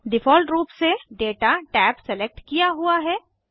default रूप से data tab select किया हुआ है